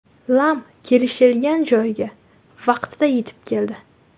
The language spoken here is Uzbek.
Lam kelishilgan joyga vaqtida yetib keldi.